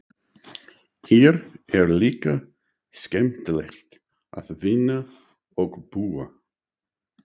Hér er líka skemmtilegt að vinna og búa.